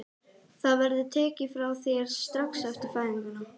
Það verður tekið frá þér strax eftir fæðinguna.